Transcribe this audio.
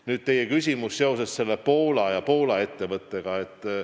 Nüüd teie küsimus Poola ja Poola ettevõtete kohta.